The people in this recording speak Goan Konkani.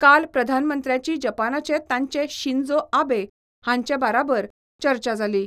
काल प्रधानमंत्र्याची जपानाचे तांचे शींजो आबे हांचे बाराबर चर्चा जाली.